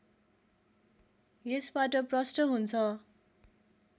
यसबाट प्रष्ट हुन्छ